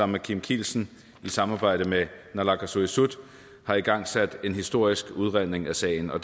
med kim kielsen i samarbejde med naalakkersuisut har igangsat en historisk udredning af sagen og